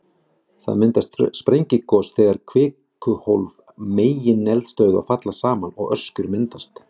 Það myndast við sprengigos, þegar kvikuhólf megineldstöðva falla saman og öskjur myndast.